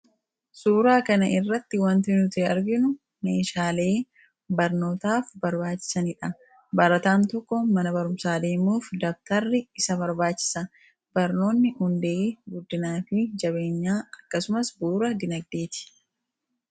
Suuraa kana irratti wanti nuti arginu meeshaalee barnootaaf barbaachisani dha. Barataan tokko mana barumsaa deemuuf dabatarri isa barbaachisa. Barnoonni hundee guddinaa fi jabeenyaa akkasumas bu'uura diinagdee ti.